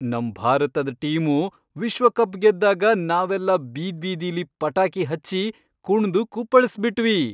ನಮ್ ಭಾರತದ್ ಟೀಮು ವಿಶ್ವಕಪ್ ಗೆದ್ದಾಗ ನಾವೆಲ್ಲ ಬೀದ್ಬೀದಿಲಿ ಪಟಾಕಿ ಹಚ್ಚಿ ಕುಣ್ದು ಕುಪ್ಪಳ್ಸ್ಬಿಟ್ವಿ.